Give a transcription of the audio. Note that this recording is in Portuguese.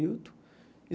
Hilton.